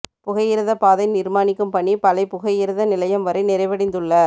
புகையிரதப் பாதை நிர்மாணிக்கும் பணி பளை புகையிரத நிலையம் வரை நிறைவடைந்துள்ள